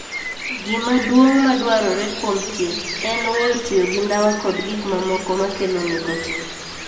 Gima duong' madwarore kuom thieth en weyo tiyo gi ndawa kod gik mamoko makelo nicotine.